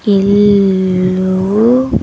ఇళ్ళూ.